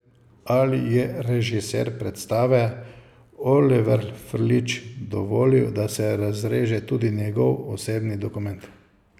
Ali je režiser predstave, Oliver Frljić, dovolil, da se razreže tudi njegov osebni dokument?